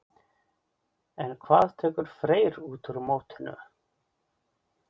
En hvað tekur Freyr út úr mótinu?